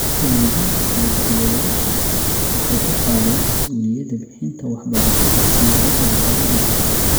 Waalidiinta iyo daryeelayaashu waxay u qaadeen mas'uuliyadda bixinta waxbarashada siyaabo aan hore loo arag .